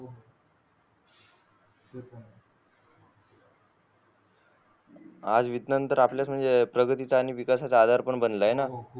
आज विज्ञान तर आपल्या म्हणजे प्रगती चे आणि विकासाचा आधार पण बनला आहे ना